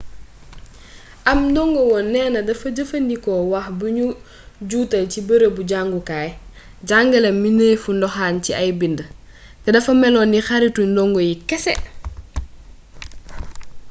ab ndongowoon neena dafa jëfandikoo wax bu nu juutal ci bërëbu jàngukaay jàngale na mënefu ndoxaan ci ay bind te dafa melon ni xaritu ndongo yi kese